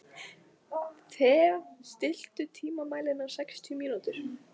Thea, stilltu tímamælinn á sextíu mínútur.